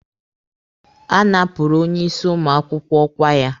A napụrụ onye isi ụmụ akwụkwọ ọkwa ya.